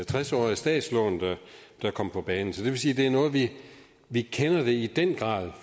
tres årige statslån der kom på banen så det vil sige at det er noget vi vi i den grad